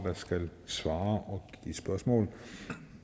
der skal svare og give spørgsmål